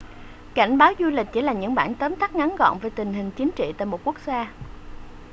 cảnh báo du lịch chỉ là những bản tóm tắt ngắn gọn về tình hình chính trị tại một quốc gia